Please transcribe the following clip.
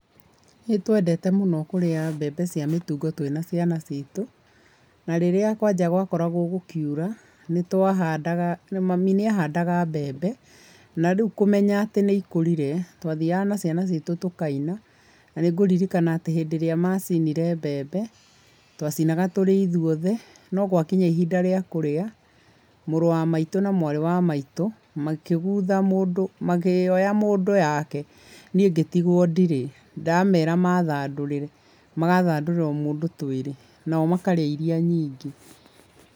Nĩ twendete mũno kũrĩa mbembe cia mĩtungo twĩna ciana ciitũ. Na rĩrĩa kwanja gwakoragwo gũkiura nĩ twahandaga, mami nĩ ahandaga mbembe. Na rĩu kũmenya atĩ nĩ ikũrire twathiaga na ciana ciitũ tũkaina. Na nĩ ngũririkana atĩ hĩndĩ ĩrĩa macinire mbembe, twacinaga tũrĩ ithuothe no gwakinya ihinda rĩa kũrĩa, mũrũ wa maitũ na mwarĩ wa maitũ, makĩgutha mũndũ, makĩoya mũndũ o yake niĩ ngĩtigwo ndirĩ. Ndamera mathandũrĩre magathandũra o mũndũ twĩrĩ, nao makarĩa iria nyingĩ.